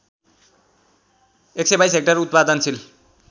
१२२ hectare उत्पादनशील